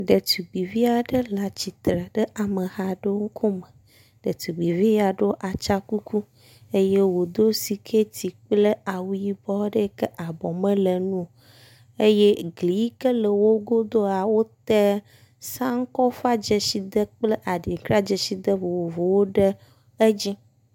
Ɖetugbivi aɖe le atsitre ɖe amehawo ŋkume. Ɖetugbivi yia ɖo atsãkuku eye wodo sikɛti kple awu yibɔ aɖe yike abɔ mele eŋuo eye gli yike le wogodoa wota sankofa dzesi ɖe kple aɖinkra dzesi de vovovowo ɖe edzi.